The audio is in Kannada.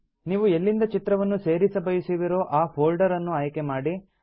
ನೀವು ಎಲ್ಲಿಂದ ಚಿತ್ರವನ್ನು ಸೇರಿಸಬಯಸುವಿರೋ ಆ ಪ್ಫೋಲ್ಡರ್ ಅನ್ನು ಆಯ್ಕೆ ಮಾಡಿ